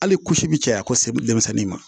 Hali kusi bi caya kose denmisɛnnin ma